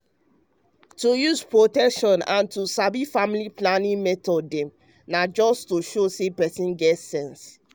to use protection and to sabi family planning method dem na just to show say person get sense.